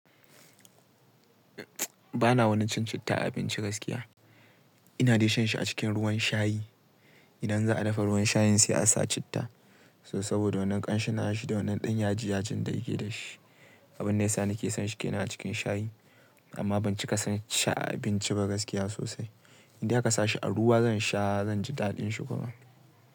Ba na wani cin citta a abinci gaskiya. Ina dai shan shi a cikin ruwan shayi. Idan za a dafa ruwan shayin sai a sa citta. So saboda wannan ƙanshin nashi da wannan ɗan yaji ya jin dayike da shi. Abin da yasa na ke son shi ke nan a cikin shayi, amma ban cika son shi a abinci ba gaskiya sosai. In dai aka sa shi a ruwa zan sha, zan ji daɗin shi kuma.